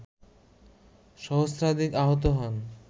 সহস্রাধিক আহত হন